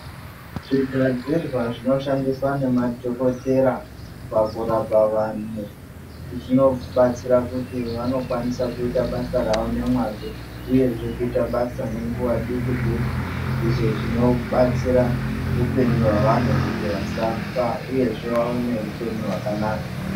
Zvigadzirwa zvinoshandiswa ngemadhokothera pakurapa vantu zvinobatsira pakuti vanokwanisa kuita basa ravo nemwazvo uyezve kuita basa nenguwa duku duku izvo zvinobatsira upenyu hwavantu kuti vasafa uyezve vave neupenyu hwakanaka.